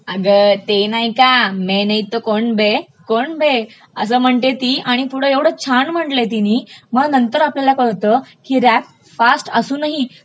अगं ते नाही का मैं नही तो कोन बे, कोन बे असं म्हणते ती आणि पुढे ऐवढं छान म्हटलय तिनी मग नंतर आपल्याला कळतं की रॅप फास्ट असूनही